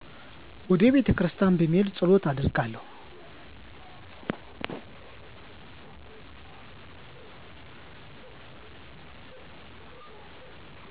ወደ ቤተክርስቲያን በመሄድ ፀሎት አደርጋለሁ።